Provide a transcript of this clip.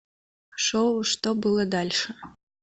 шоу что было дальше